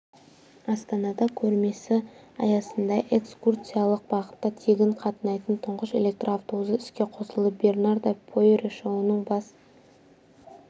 астанада көрмесі аясында экскурсиялық бағытта тегін қатынайтын тұңғыш электр автобусы іске қосылды бернарда пойрие шоуының бас